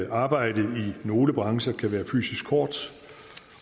arbejdet i nogle brancher kan være fysisk hårdt